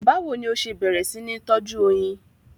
Báwo ni o ṣe bẹ̀rẹ̀ sí ní tọ́jú oyin?